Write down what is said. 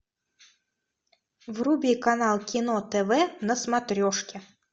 вруби канал кино тв на смотрешке